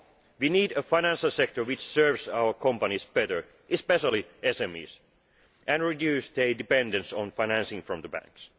We need a financial sector which serves our companies better especially SMEs and reduces their dependence on financing from the banks.